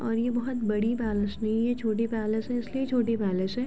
अरे ये बोहोत बड़ी पैलिस नहीं है छोटी पैलेस है इसलिए छोटी पैलेस है।